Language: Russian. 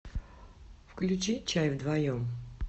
включи чай вдвоем